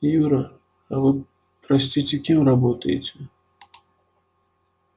юра а вы простите кем работаете